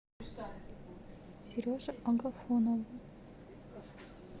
сереже агафонову